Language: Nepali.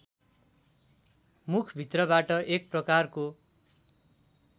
मुखभित्रबाट एक प्रकारको